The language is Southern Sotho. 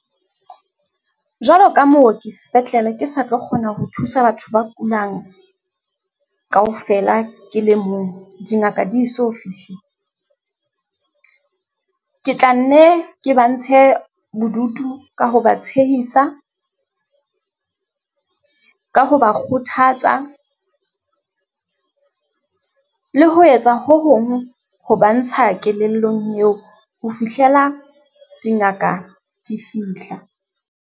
Jwalo ka mooki sepetlele, ke sa tlo kgona ho thusa batho ba kulang kaofela ke le mong dingaka di so fihle. Ke tla nne ke ba ntshe bodutu ka ho ba tshehisa, ka ho ba kgothatsa le ho etsa ho hong ho ba ntsha kelellong eo ho fihlela dingaka di fihla.